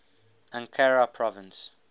ankara province